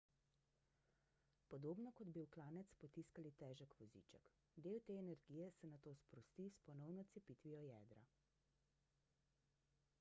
podobno kot bi v klanec potiskali težek voziček del te energije se nato sprosti s ponovno cepitvijo jedra